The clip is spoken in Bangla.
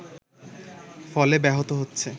ফলে ব্যাহত হচ্ছে